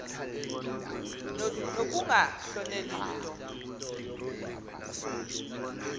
nokunga hloneli nto